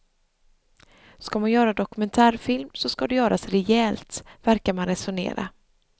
Ska man göra dokumentärfilm så ska det göras rejält, verkar man resonera.